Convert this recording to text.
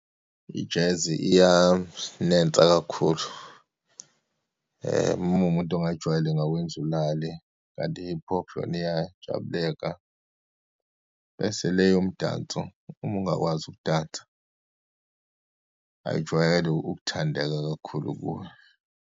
I-jazz iyanensa kakhulu, uma uwumuntu ongayijwayele ingawenza ulale, kanti i-hip hop yona iyajabuleka, bese le eyomdanso, uma ungakwazi ukudansa ayijwayele uthandeka kakhulu kuwe.